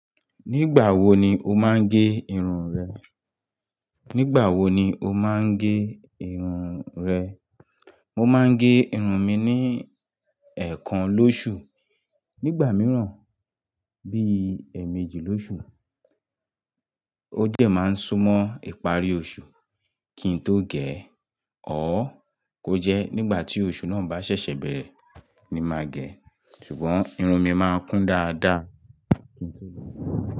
Nígbà wo ni o máa ń gé irun rẹ? Nígbà wo ni o máa ń gé irun rẹ? Nígbà wo ni o máa ń gé irun rẹ? Ní gbà míràn bí i ẹ méjì lóṣù. Nígbà mìíràn bí i èèmejì lóṣù. Ó jẹ̀ máa ń sún mọ́ ìparí oṣù kí n tó gẹ̀. Ṣùgbọ́n irun mi máa ń kún dáadáa.